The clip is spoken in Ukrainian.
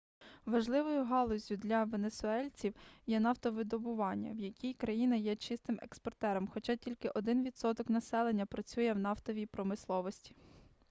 важливою галуззю для венесуельців є нафтовидобування в якій країна є чистим експортером хоча тільки 1 відсоток населення працює в нафтовій промисловості